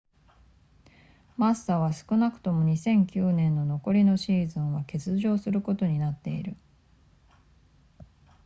マッサは少なくとも2009年の残りのシーズンは欠場することになっている